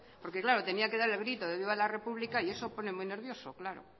porque claro tenía que dar el grito de viva la república y eso pone muy nervioso claro